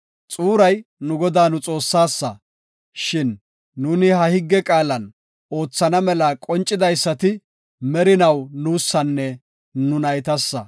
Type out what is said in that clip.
Xuuray nu Godaa nu Xoossasa, shin nuuni ha higge qaala oothana mela qoncidaysati merinaw nuusanne nu naytasa.